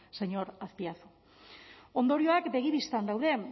señor azpiazu ondorioak begi bistan daude